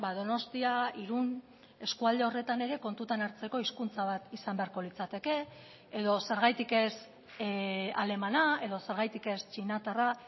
donostia irun eskualde horretan ere kontutan hartzeko hizkuntza bat izan beharko litzateke edo zergatik ez alemana edo zergatik ez txinatarra